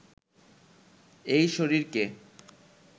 এই শরীরকে